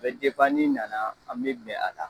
A bɛ n'i nana , an bɛ bɛn a la.